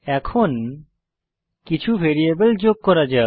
এখন কিছু ভ্যারিয়েবল যোগ করা যাক